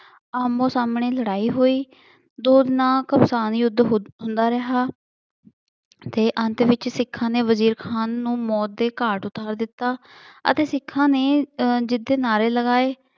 ਆਹਮੋ-ਸਾਹਮਣੇ ਲੜਾਈ ਹੋਈ। ਦੋਨਾ ਦਾ ਘਮਸਾਨ ਯੁੱਧ ਹੁੰਦਾ ਰਿਹਾ ਅਤੇ ਅੰਤ ਵਿੱਚ ਸਿੱਖਾਂ ਨੇ ਵਜ਼ੀਰ ਖਾਂ ਨੂੰ ਮੌਤ ਦੇ ਘਾਟ ਉਤਾਰ ਦਿੱਤਾ ਅਤੇ ਸਿੱਖਾਂ ਨੇ ਜਿੱਤ ਦੇ ਨਾਅਰੇ ਲਗਾਏ।